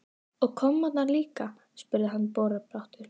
Og kommarnir líka? spurði hann borubrattur.